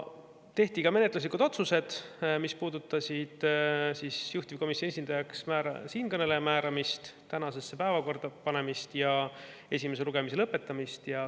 Tehti ka menetluslikud otsused, mis puudutasid juhtivkomisjoni esindajaks siinkõneleja määramist, eelnõu tänasesse päevakorda panemist ja esimese lugemise lõpetamist.